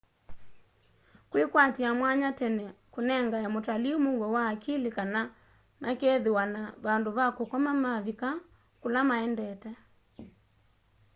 kwikwatia mwanya tene kunengae mutalii muuo wa akili kana makeethiwa na vandu va kukoma mavika kula maendete